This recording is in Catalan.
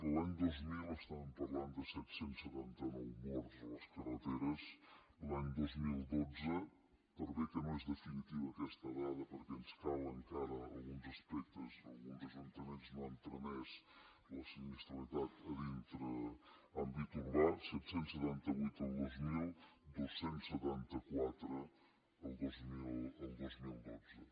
l’any dos mil parlàvem de set cents i setanta nou morts a les carreters l’any dos mil dotze per bé que no és definitiva aquesta dada perquè ens calen encara alguns aspectes alguns ajuntaments no han tramès la sinistralitat a dintre àmbit urbà set cents i setanta vuit el dos mil dos cents i setanta quatre el dos mil dotze